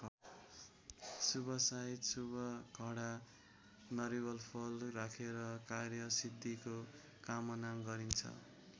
शुभ साईत शुभ घडामा नरिवलफल राखेर कार्यसिद्धिको कामना गरिन्छ।